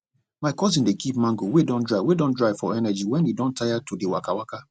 my cousin dey keep mango wey don dry wey don dry for energy when e don tire to dey waka waka